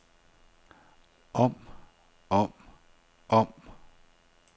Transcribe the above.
om om om